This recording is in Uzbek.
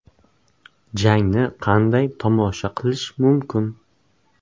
Jangni qanday tomosha qilish mumkin?.